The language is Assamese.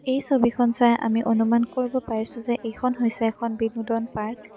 এই ছবিখন চাই আমি অনুমান কৰিব পাৰিছোঁ যে এইখন হৈছে এখন বিনোদন পাৰ্ক ।